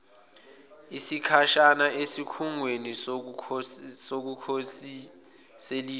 isikhashana esikhungweni sokukhoselisa